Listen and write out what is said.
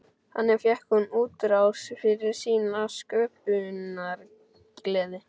Þannig fékk hún útrás fyrir sína sköpunargleði.